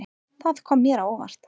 Það kom mér á óvart.